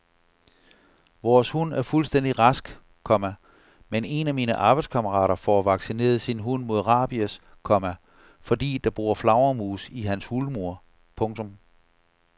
Vores hund er fuldstændig rask, komma men en af mine arbejdskammerater får vaccineret sin hund mod rabies, komma fordi der bor flagermus i hans hulmur. punktum